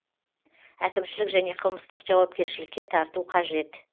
әкімшілік және қылмыстық жауапкершілікке тарту қажет